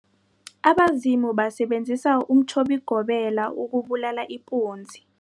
Abazumi basebenzise umtjhobigobela ukubulala ipunzi.